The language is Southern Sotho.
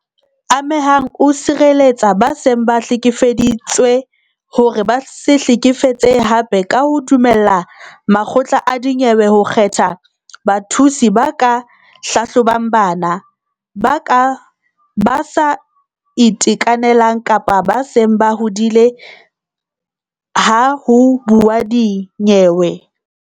Ame hang o sireletsa ba seng ba hlekefeditswe hore ba se hlekefetsehe hape ka ho dumella makgotla a dinyewe ho kgetha bathusi ba ka hlahlobang bana, ba sa itekanelang kapa ba seng ba hodile ha ho buuwa dinyewe.